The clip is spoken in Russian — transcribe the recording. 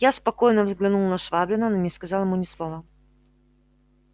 я спокойно взглянул на швабрина но не сказал ему ни слова